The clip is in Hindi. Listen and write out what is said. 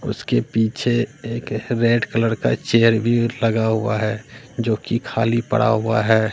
उसके पीछे एक रेड कलर का चेयर भी लगा हुआ है जोकि खाली पड़ा हुआ है।